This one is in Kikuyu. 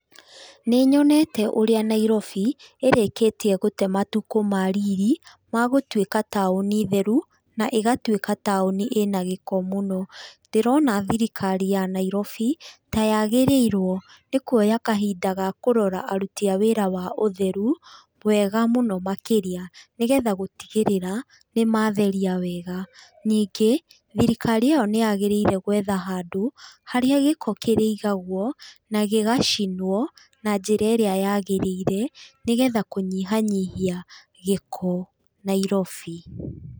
Nĩnyonete ũrĩa Nairobi ĩrĩkĩtie gũte matukũ ma riri ma gũtuĩka taũni theru na ĩgatuĩka taũni ĩna gĩko mũno. Ndĩrona thirikari ya Nairobi ta yagĩrĩirwo nĩ kuoya kahinda ga kũrora aruti a wĩra wa ũtheru wega mũno makĩria nĩ getha gũtigĩrĩra nĩ matheria wega. Ningĩ, thirikari ĩo nĩyagĩrĩre gwetha handũ harĩa gĩko kĩrĩigagwo na gĩgacinwo na njĩra ĩrĩa yagĩrĩire nĩgetha kũnyihanyihia gĩko Nairobi.